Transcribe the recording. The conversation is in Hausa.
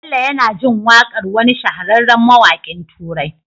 Bello yAna jin waƙar wani shahararren mawakin turai